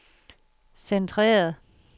centreret